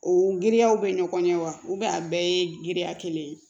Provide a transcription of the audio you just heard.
O giriyaw bɛ ɲɔgɔn ɲɛ wa a bɛɛ ye giriya kelen ye